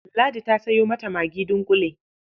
Ladi ta sayo mata magi dunƙule.